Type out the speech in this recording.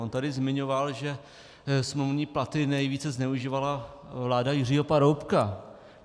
On tady zmiňoval, že smluvní platy nejvíce zneužívala vláda Jiřího Paroubka.